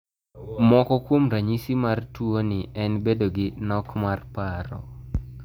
Moko kuom ranyisi mar tuoni en bedo gi nok mar paro